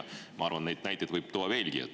Ma arvan, et neid näiteid võib tuua veelgi.